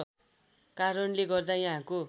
कारणले गर्दा यहाँको